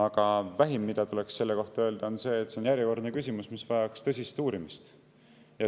Aga vähim, mida tuleks selle kohta öelda, on see, et see on järjekordne küsimus, mis vajaks tõsist uurimist.